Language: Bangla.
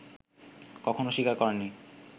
কখনও স্বীকার করেননি